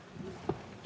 Aitäh!